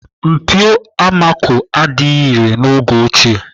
Mpio amako adịghị irè n'oge ochie.